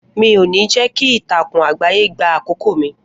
Mi ò ní jẹ́ kí ìtàkùn àgbáyé gbà àkókò mi